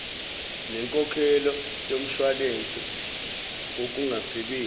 nenkokhelo yomshwalense wokungasebenzi